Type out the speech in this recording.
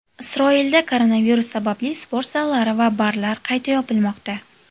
Isroilda koronavirus sababli sport zallari va barlar qayta yopilmoqda.